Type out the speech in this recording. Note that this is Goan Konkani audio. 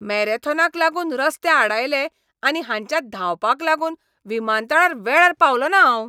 मॅरेथॉनाक लागून रस्ते आडायले आनी हांच्या धांवपाक लागून विमानतळार वेळार पावलों ना हांव.